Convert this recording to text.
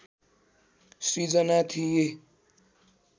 सिर्जना थिए